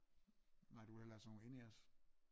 Nej du vil hellere have sådan nogle in-ears